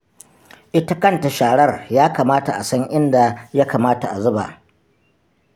Ita kanta sharar ya kamata a san inda ya kamata a zuba ba.